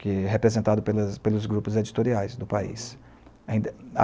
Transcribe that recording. que é representado pelos pelos grupos editoriais do país.